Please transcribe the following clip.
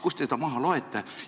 Kust te seda maha loete?